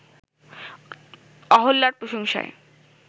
অহল্যার প্রশংসায়